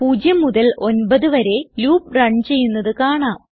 0 മുതൽ 9 വരെ loop run ചെയ്യുന്നത് കാണാം